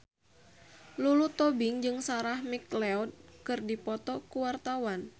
Lulu Tobing jeung Sarah McLeod keur dipoto ku wartawan